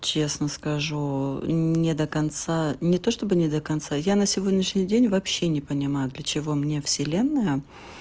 честно скажу не до конца не то чтобы не до конца я на сегодняшний день вообще не понимаю для чего мне вселенная